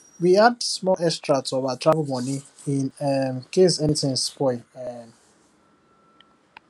we add small extra to our travel money in um case anything spoil um